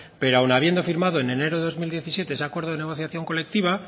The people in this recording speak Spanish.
pero aun habiendo firmado en enero de dos mil diecisiete ese acuerdo de negociación colectiva